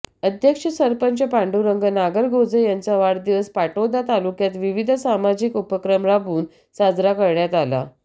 अध्यक्ष सरपंच पांडुरंग नागरगोजे यांचा वाढदिवस पाटोदा तालुक्यात विविध सामाजिक उपक्रम राबवून साजरा करण्यात आला